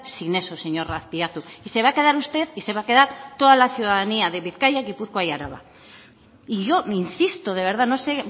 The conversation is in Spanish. sin eso señor azpiazu y se va a quedar usted y se va a quedar toda la ciudadanía de bizkaia gipuzkoa y araba y yo insisto de verdad no sé